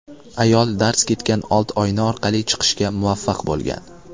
Ayol darz ketgan old oyna orqali chiqishga muvaffaq bo‘lgan.